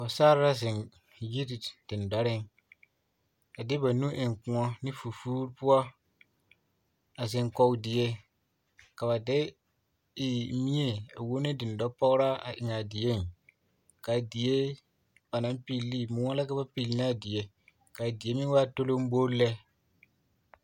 Pɔgesarre la zeŋ yiri dendɔreŋ a de ba nu eŋ kõɔ ne fofoore poɔ a zeŋ kɔge die ka ba de mie a wuo ne dendɔpɔgeraa a eŋaa dieŋ k'a die ba naŋ pilli ne moɔ la ka ba pilnaa die ka a die meŋ waa tolombol lɛ